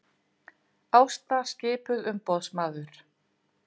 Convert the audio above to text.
Ásta skipuð umboðsmaður